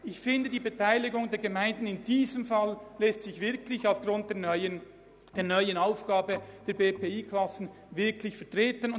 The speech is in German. Ich finde, dass sich die Beteiligung der Gemeinden in diesem Fall aufgrund der neuen Aufgabe, BPI-Klassen zu führen, vertreten lässt.